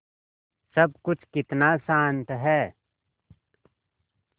सब कुछ कितना शान्त है